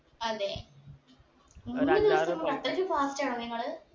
അതെ മൂന്ന് ദിവസം കൊണ്ട് അത്രക്കു fast ആണോ നിങ്ങൾ